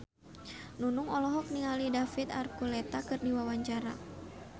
Nunung olohok ningali David Archuletta keur diwawancara